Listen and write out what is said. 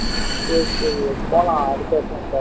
சரி சரி விவேக் போலாம் அடுத்த வருஷம் போலாம்